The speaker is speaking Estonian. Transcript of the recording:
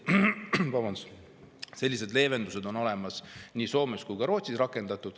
Sellised leevendused on olemas nii Soomes kui ka Rootsis.